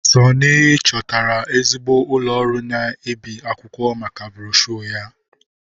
Sunny chọtara ezigbo ụlọ ọrụ na-ebi akwụkwọ maka broshuọ ya.